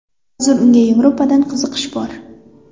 Hozir unga Yevropadan qiziqish bor.